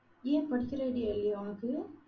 ஏன் படிக்கற idea இல்லயா உனக்கு?